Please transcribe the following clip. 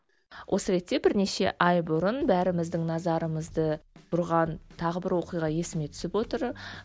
осы ретте бірнеше ай бұрын бәріміздің назарымызды бұрған тағы бір оқиға есіме түсіп отыр